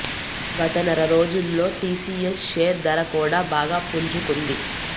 గత నెర రోజుల్లో టీసీఎస్ షేర్ ధర కూడా బాగా పుంజుకుంది